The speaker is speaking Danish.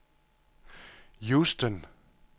Houston